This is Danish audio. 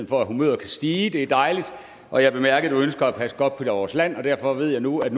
for at humøret kan stige det er dejligt og jeg bemærkede at du ønsker at passe godt på vores land og derfor ved jeg nu at